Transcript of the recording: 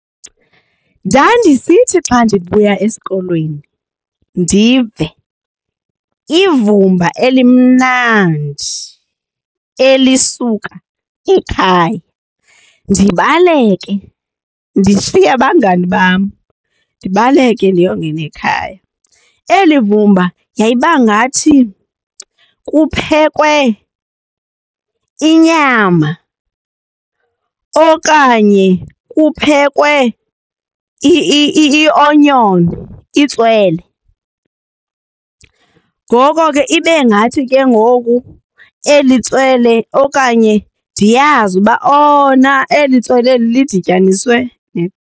Ndandisithi xa ndibuya esikolweni ndive ivumba elimnandi elisuka ekhaya. Ndibaleke ndishiye abangani bam ndibaleke ndiyongena ekhaya. Eli vumba yayiba ngathi kuphekwe inyama okanye kuphekwe ionyoni, itswele. Ngoko ke ibe ngathi ke ngoku eli tswele okanye ndiyazi uba oh na eli tswele lidinyaniswe .